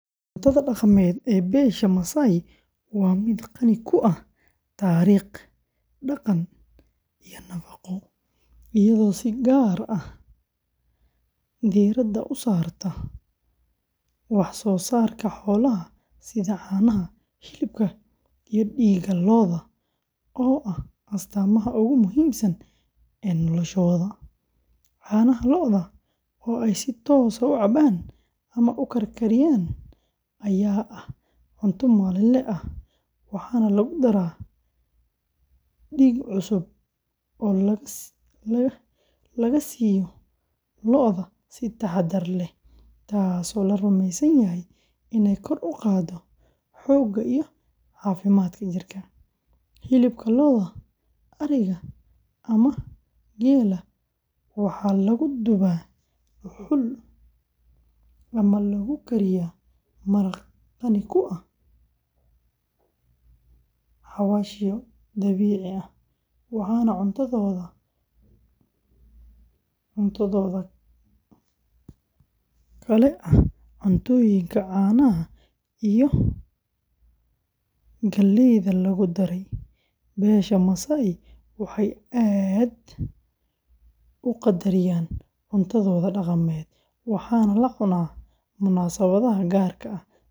Cuntada dhaqameed ee beesha Maasai waa mid qani ku ah taariikh, dhaqan iyo nafaqo, iyadoo si gaar ah diiradda u saarta wax-soo-saarka xoolaha sida caanaha, hilibka iyo dhiigga lo’da oo ah astaamaha ugu muhiimsan ee noloshooda; caanaha lo’da oo ay si toos ah u cabaan ama u karkariyaan ayaa ah cunto maalinle ah, waxaana lagu daraa dhiig cusub oo laga siiyo lo’da si taxaddar leh, taasoo la rumeysan yahay inay kor u qaaddo xoogga iyo caafimaadka jirka; hilibka lo’da, ariga ama geela waxaa lagu dubaa dhuxul ama lagu kariyaa maraq qani ku ah xawaashyo dabiici ah, waxaana cuntadooda kale oo ah maraq laga sameeyo lafaha lo’da, oo ah hilib si gaar ah loo diyaariyay, iyo cuntooyinka caanaha iyo galleyda lagu daray; beesha Maasai waxay aad u qadariyaan cuntadooda dhaqameed, waxaana la cunaa munaasabadaha gaarka ah.